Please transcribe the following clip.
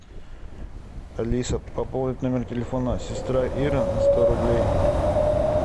алиса пополнить номер телефона сестра ира на сто рублей